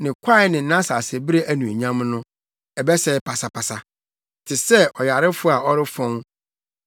Ne kwae ne nʼasasebere anuonyam no, ɛbɛsɛe pasapasa te sɛ ɔyarefo a ɔrefɔn.